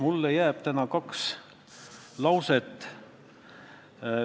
Mulle jääb täna meelde kaks lauset.